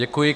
Děkuji.